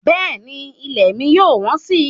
Bẹ́ẹ̀ni ilẹ̀ mi yóò wọ́n si